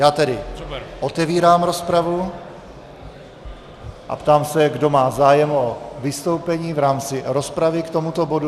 Já tedy otevírám rozpravu a ptám se, kdo má zájem o vystoupení v rámci rozpravy k tomuto bodu.